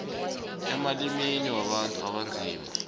emalimini wabantu abanzima